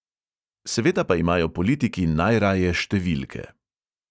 Seveda pa imajo politiki najraje številke.